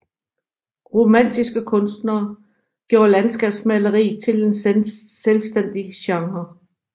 Romantiske kunstnere gjorde landskabsmaleriet til en selvstændig genre